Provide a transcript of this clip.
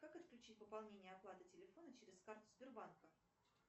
как отключить пополнение оплаты телефона через карту сбербанка